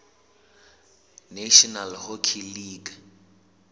national hockey league